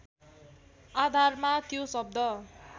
आधारमा त्यो शब्द